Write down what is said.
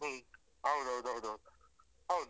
ಹ್ಮ್ ಹೌದೌದು ಹೌದೌದು ಹೌದು.